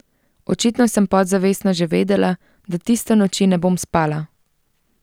Očitno sem podzavestno že vedela, da tiste noči ne bom spala.